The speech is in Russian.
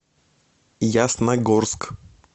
ясногорск